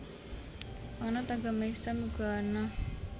Panganut agama Islam uga ana